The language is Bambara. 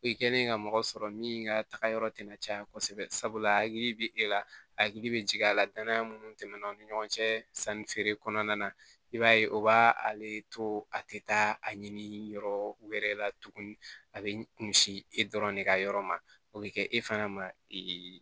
I kɛlen ka mɔgɔ sɔrɔ min ka taga yɔrɔ tɛna caya kosɛbɛ sabula hakili bɛ e la hakili bɛ jigin a la danaya minnu tɛmɛna u ni ɲɔgɔn cɛ sanni feere kɔnɔna na i b'a ye o b'a ale to a tɛ taa a ɲini yɔrɔ wɛrɛ la tuguni a bɛ kunsi e dɔrɔn de ka yɔrɔ ma o bɛ kɛ e fana ma